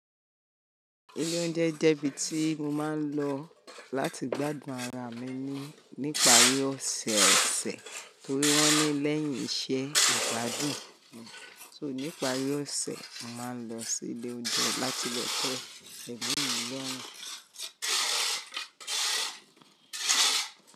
Ilé oúnjẹ jẹ́ ibi tí mo máa ń lọ, láti gbádùn ara mi nípari ọ̀sẹ̀ọ̀sẹ̀ nítorí wọ́n ní lẹ́yìn iṣẹ́ ìgbádùn. So, nípari ọ̀sẹ̀, mo màá lọ sí ilé oúnjẹ láti lọ te emimilorun.